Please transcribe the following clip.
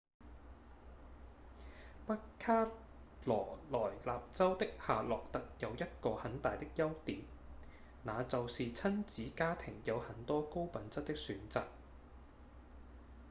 北卡羅萊納州的夏洛特有一個很大的優點那就是親子家庭有很多高品質的選擇